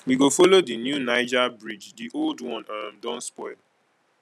we go folo di new niger bridge di old one um don spoil